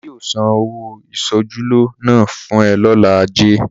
Ọlá yóò san ọ̀wọ́ ìṣojúlóge náà fún ẹ lọ́jọ́ ajé.